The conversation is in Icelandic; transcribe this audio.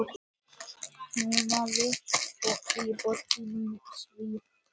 Fólkið í borginni svo eins.